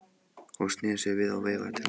Hún sneri sér við og veifaði til hans.